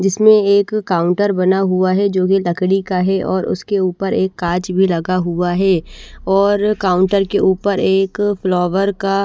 जिसमें एक काउंटर बना हुआ है जोकि लकड़ी का है और उसके ऊपर एक कांच भी लगा हुआ है और काउंटर के ऊपर एक फ्लावर का --